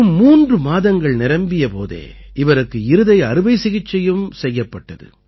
வெறும் மூன்று மாதங்கள் நிரம்பிய போதே இவருக்கு இருதய அறுவை சிகிச்சையும் செய்யப்பட்டது